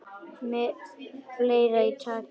Með fleira í takinu